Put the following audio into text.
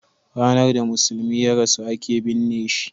ranar da musulmi ya rasu a ke binne shi